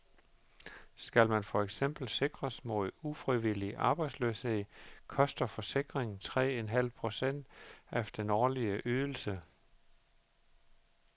Skal man for eksempel sikres mod ufrivillig arbejdsløshed, koster forsikringen tre en halv procent af den årlige ydelse.